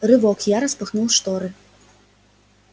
рывок я распахнул шторы